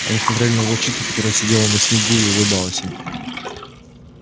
они смотрели на волчицу которая сидела на снегу и улыбалась им